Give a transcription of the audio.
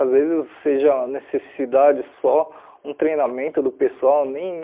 Às vezes seja necessidade só um treinamento do pessoal, nem um...